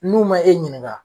N'u ma e ɲininga